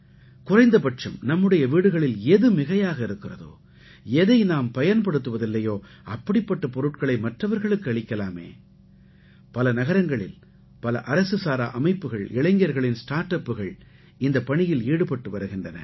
குறைந்தபட்சம் நம்முடைய வீடுகளில் எது மிகையாக இருக்கிறதோ எதை நாம் பயன்படுத்துவதில்லையோ அப்படிப்பட்ட பொருட்களை மற்றவர்களுக்கு அளிக்கலாமே பல நகரங்களில் பல அரசுசாரா அமைப்புகள் இளைஞர்களின் ஸ்டார்ட் அப்புகள் இந்தப் பணியில் ஈடுபட்டு வருகின்றன